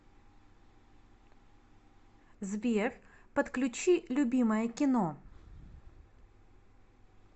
сбер подключи любимое кино